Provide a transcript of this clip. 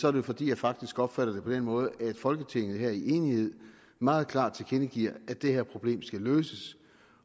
er det fordi jeg faktisk opfatter det på den måde at folketinget her i enighed meget klart tilkendegiver at det her problem skal løses